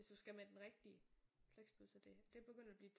Hvis du skal med den rigtige flexbus og det det er begyndt at blive